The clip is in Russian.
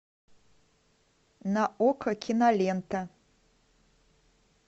на окко кинолента